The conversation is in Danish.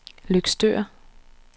Løgstør